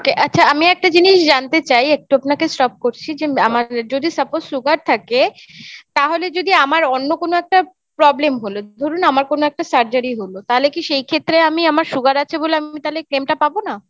okay আচ্ছা আমি একটা জিনিস জানতে চাই একটু আপনাকে stop করছি যে আমার যদি suppose sugar থাকে তাহলে যদি আমার অন্য কোনো একটা problem হল ধরুন আমার কোনো একটা Surgery হল তাহলে কি সেই ক্ষেত্রে আমি আমার sugar আছে বলে আমি তাহলে claim টা পাবো না?